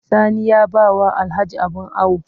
Sani ya ba wa Alhaji abin awo